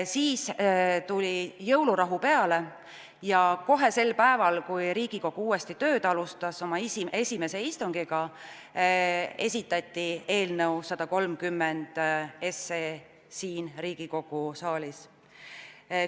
Siis tuli jõulurahu ja kohe sel päeval, kui Riigikogu uuesti tööd alustas, esimesel istungil, anti eelnõu 131 siin Riigikogu saalis üle.